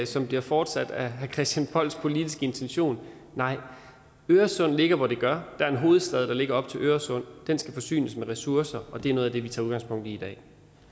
som bliver fortsat af herre christian polls politiske intention nej øresund ligger hvor det gør der er en hovedstad der ligger op til øresund den skal forsynes med ressourcer og det er noget af det vi tager udgangspunkt i i dag